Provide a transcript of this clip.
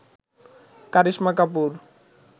Karisma Kapoor